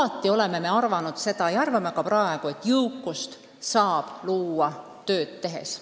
Me oleme alati arvanud ja arvame ka praegu, et jõukust saab luua tööd tehes.